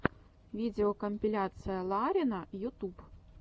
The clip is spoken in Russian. видеокомпиляция ларина ютуб